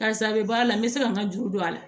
Karisa a bɛ bɔ a la n bɛ se ka n ka juru don a la